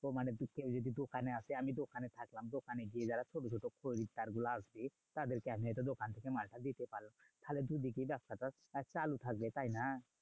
তো মানে বিকেলে যদি দোকানে আসে আমি দোকানে থাকলাম। দোকানে গিয়ে যারা ছোট ছোট খরিদ্দার গুলো আসে তাদেরকে আমি হয়তো দোকান থেকে মালটা দিতে পারলাম। তাহলে দুদিকেই ব্যাবসাটা চালু থাকবে, তাইনা?